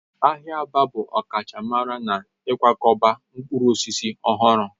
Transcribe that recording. Ahịa Aba bụ ọkachamara n'ịkwakọba mkpụrụ osisi ọhụrụ